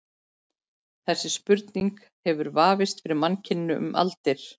Þessi spurning hefur vafist fyrir mannkyninu um aldir.